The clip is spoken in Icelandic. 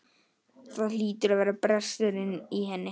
Það hlýtur að vera brestur í henni.